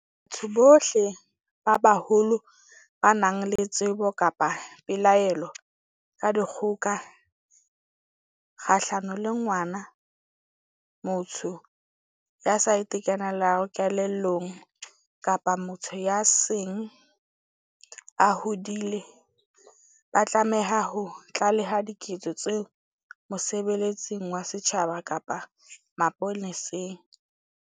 Batho bohle ba baholo ba nang le tsebo kapa pelaelo ka dikgoka kgahlano le ngwana, motho ya sa itekanelang kelellong kapa motho ya seng a hodile ba tlameha ho tlaleha diketso tseo mosebeletsing wa setjhaba kapa mapoleseng.